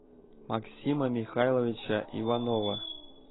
максима михайловича иванова